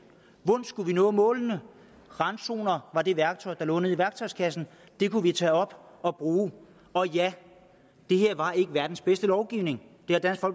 hvordan skulle vi nå målene randzoner var det værktøj der lå nede i værktøjskassen det kunne vi tage op og bruge og ja det her var ikke verdens bedste lovgivning